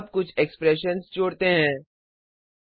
अब कुछ एक्सप्रेशंस व्यंजक जोड़ते हैं